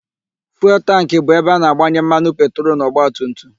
Fuelu tankị bụ ebe a na-agbanye mmanụ petrolu n'ọgbatumtum.